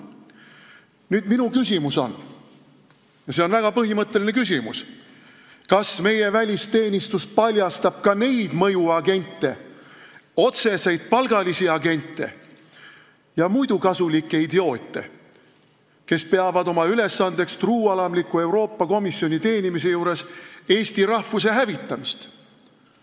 Nüüd, minu küsimus on – ja see on väga põhimõtteline küsimus –, kas meie välisteenistus paljastab ka neid otseseid palgalisi mõjuagente ja muidu kasulikke idioote, kes peavad oma ülesandeks truualamliku Euroopa Komisjoni teenimisel eesti rahvuse hävitamist.